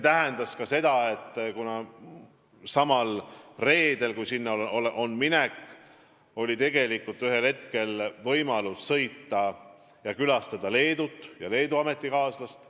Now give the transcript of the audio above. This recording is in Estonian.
Juhtus nii, et samal reedel, kui on sinna minek, oli mul tegelikult võimalus külastada Leedu ametikaaslast.